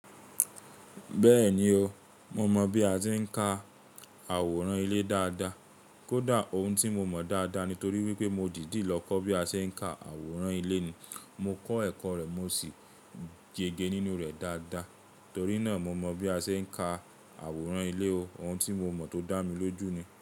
Bẹ́ẹ̀ni o, mo mọ̀ bí a ṣe ń ka àwòrán ilé dáadáa. Kódà, òun tí mo mọ̀ dáadáa nítorí wípé mo dìdí lọ kọ́ bí a ṣe ń ka àwòrán ilé ni. Mo kọ́ ẹ̀kọ́ rẹ̀ mo sì yége nínú rẹ̀ dáadáa. Torí náà mo mọ bí a ṣe ń ka àwòrán ilé o. Òun tí mo mọ̀ tó dá mi lójú ni.